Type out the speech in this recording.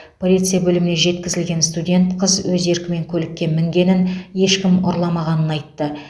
полиция бөліміне жеткізілген студент қыз өз еркімен көлікке мінгенін ешкім ұрламағанын айтты